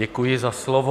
Děkuji za slovo.